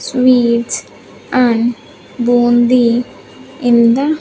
sweets and bundi in the --